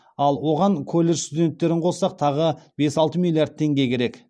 ал оған колледж студенттерін қоссақ тағы бес алты миллиард теңге керек